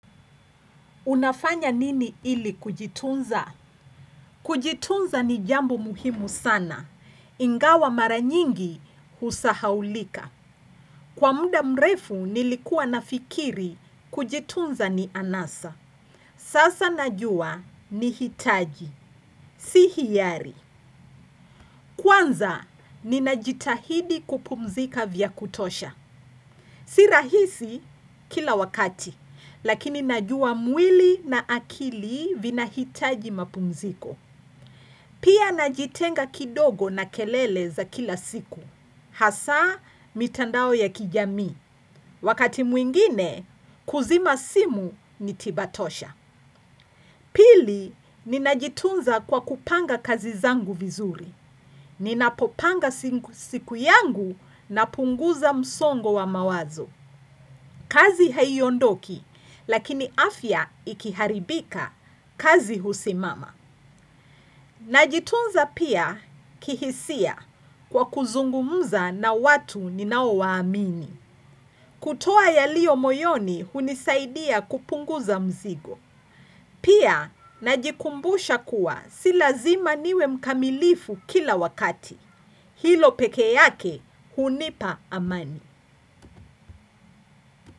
Unafanya nini ili kujitunza? Kujitunza ni jambo muhimu sana. Ingawa mara nyingi husahaulika. Kwa muda mrefu nilikuwa nafikiri kujitunza ni anasa. Sasa najua ni hitaji. Sihiyari. Kwanza ni najitahidi kupumzika vya kutosha. Si rahisi kila wakati. Lakini najua mwili na akili vinahitaji mapumziko. Pia najitenga kidogo na kelele za kila siku, hasa mitandao ya kijami, wakati mwingine kuzima simu nitiba tosha. Pili, ninajitunza kwa kupanga kazi zangu vizuri. Ninapopanga siku yangu napunguza msongo wa mawazo. Kazi haiondoki lakini afya ikiharibika kazi husimama. Najitunza pia kihisia kwa kuzungumuza na watu ninao waamini. Kutoa yalio moyoni hunisaidia kupunguza mzigo. Pia najikumbusha kuwa silazima niwe mkamilifu kila wakati. Hilo peke yake hunipa amani.